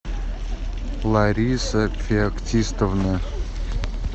лариса феоктистовна